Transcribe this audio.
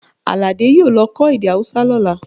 Àlàdé yóò lọ kọ́ èdè Hausa lọ́la